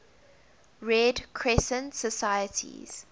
red crescent societies